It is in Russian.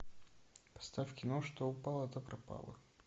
поставь кино что упало то пропало